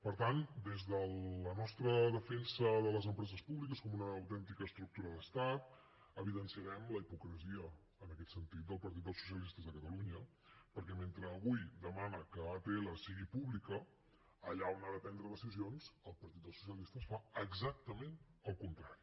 per tant des de la nostra defensa de les empreses públiques com una autèntica estructura d’estat evidenciarem la hipocresia en aquest sentit del partit dels socialistes de catalunya perquè mentre avui demana que atll sigui pública allà on ha de prendre decisions el partit dels socialistes fa exactament el contrari